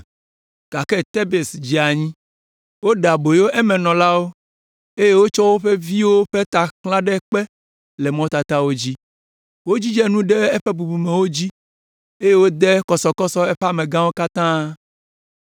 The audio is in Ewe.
gake Tebes dze anyi, woɖe aboyo emenɔlawo, eye wotsɔ wo viwo ƒe ta xlã ɖe kpe le mɔtatawo dzi. Wodzidze nu ɖe eƒe bubumewo dzi, eye wode kɔsɔkɔsɔ eƒe amegãwo katã.